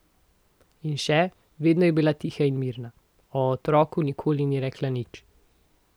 In še: "Vedno je bila tiha in mirna, o otroku nikoli ni rekla nič.